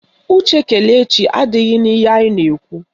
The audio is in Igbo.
Uche Kelechi adịghị n'ihe anyị na-ekwu